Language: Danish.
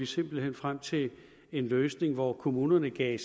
simpelt hen frem til en løsning hvor kommunerne gav